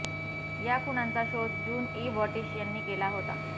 या खुणांचा शोध जून ई बॉटिश यांनी केला होता